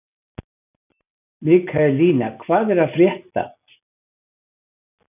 Mikaelína, hvað er að frétta?